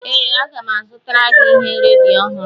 Ee, aga m azụtara gị ihe redio ọhụrụ